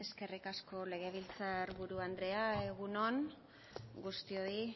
eskerrik asko legebiltzar buru andrea egun on guztioi